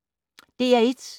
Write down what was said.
DR1